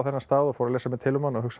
stað og fór að lesa mér til um hann og hugsaði